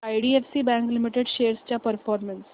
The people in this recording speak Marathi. आयडीएफसी बँक लिमिटेड शेअर्स चा परफॉर्मन्स